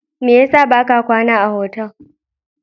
Me yasa ba ka kwana a otal?